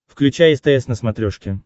включай стс на смотрешке